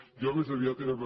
jo més aviat era